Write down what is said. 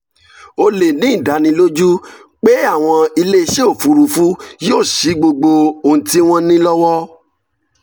o lè ní ìdánilójú pé àwọn iléeṣẹ́ òfuurufú yóò ṣí gbogbo ohun tí wọ́n ní lọ́wọ́